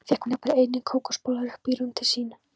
Fékk hún jafnvel einnig kókosbollur upp í rúm til sín.